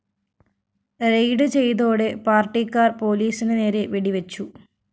raid ചെയ്‌തോടെ പാര്‍ട്ടിക്കാര്‍ പോലീസിനു നേരെ വെടിവച്ചു